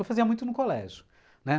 Eu fazia muito no colégio, né?